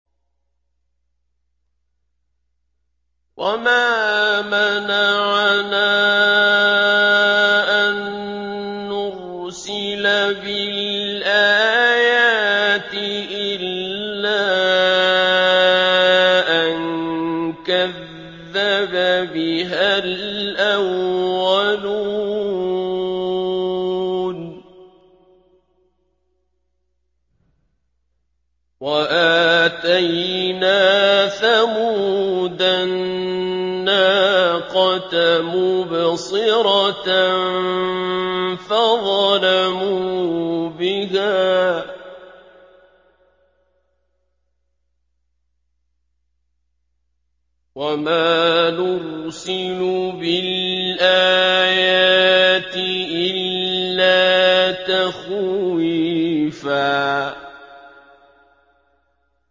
وَمَا مَنَعَنَا أَن نُّرْسِلَ بِالْآيَاتِ إِلَّا أَن كَذَّبَ بِهَا الْأَوَّلُونَ ۚ وَآتَيْنَا ثَمُودَ النَّاقَةَ مُبْصِرَةً فَظَلَمُوا بِهَا ۚ وَمَا نُرْسِلُ بِالْآيَاتِ إِلَّا تَخْوِيفًا